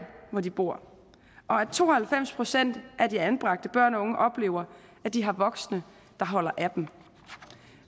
hvor de bor og at to og halvfems procent af de anbragte børn og unge oplever at de har voksne der holder af dem